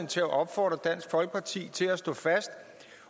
til at opfordre dansk folkeparti til at stå fast